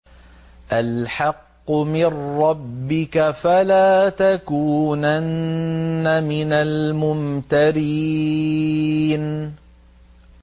الْحَقُّ مِن رَّبِّكَ ۖ فَلَا تَكُونَنَّ مِنَ الْمُمْتَرِينَ